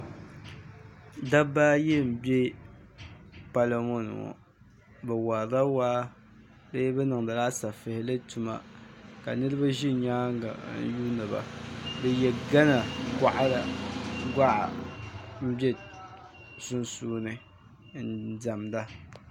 Dabba ayi m-be palo ŋɔ ni ŋɔ bɛ warila waa bee bɛ niŋdila asafihili tuma ka niriba ʒi nyaaŋa n-yuuni ba bɛ ye Ɡhana ɡɔɣa m-be sunsuuni n-diɛmda